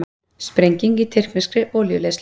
Sprenging í tyrkneskri olíuleiðslu